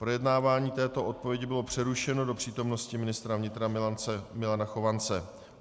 Projednávání této odpovědi bylo přerušeno do přítomnosti ministra vnitra Milana Chovance.